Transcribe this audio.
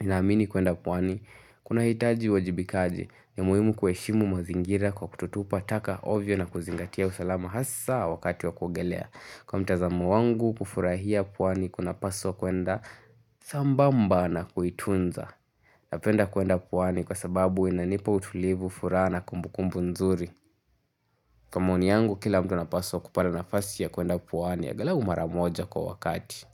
ninaamini kuenda pwani, kunahitaji uwajibikaji ni muhimu kueshimu mazingira kwa kutotupa taka ovyo na kuzingatia usalama hasa wakati wa kuogelea Kwa mitazamo wangu kufurahia puwani kunapaswa kuenda sambamba na kuitunza Napenda kuenda puwani kwa sababu inanipa utulivu furaha na kumbukumbu nzuri Kwa maoni yangu kila mtu anapaswa kupata nafasi ya kuenda puwani ya agalau mara moja kwa wakati.